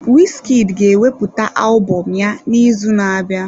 Wizkid ga-ewepụta alụbọm ya n'izu na-abịa.